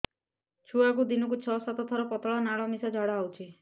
ଛୁଆକୁ ଦିନକୁ ଛଅ ସାତ ଥର ପତଳା ନାଳ ମିଶା ଝାଡ଼ା ହଉଚି